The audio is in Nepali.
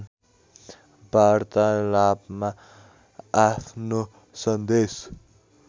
वार्तालापमा आफ्नो सन्देश